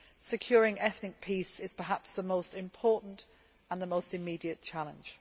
Securing ethnic peace is perhaps the most important and the most immediate challenge.